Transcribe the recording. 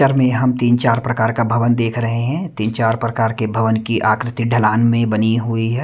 में हम तीन-चार प्रकार का भवन देख रहे हैं तीन चार प्रकार के भवन की आकृति ढलान में बनी हुई।